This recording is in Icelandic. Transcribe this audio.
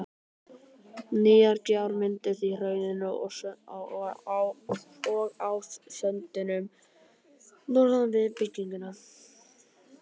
Nýjar gjár mynduðust í hraununum og á söndunum norðan við byggðina.